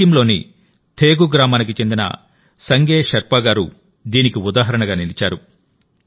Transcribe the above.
సిక్కింలోని థేగు గ్రామానికి చెందిన సంగే షెర్పా గారు దీనికి ఉదాహరణగా నిలిచారు